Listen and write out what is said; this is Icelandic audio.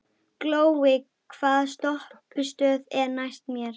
Glói, hvaða stoppistöð er næst mér?